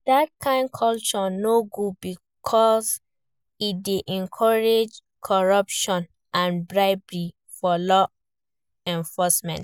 Dat kain culture no good, because e dey encourage corruption and bribery for law enforcement.